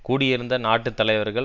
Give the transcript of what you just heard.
கூடியிருந்த நாட்டு தலைவர்கள்